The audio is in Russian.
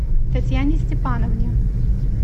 татьяне степановне